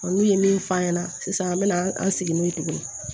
N'u ye min f'a ɲɛna sisan an bɛ na an segin n'o ye tuguni